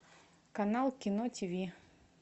канал кино тиви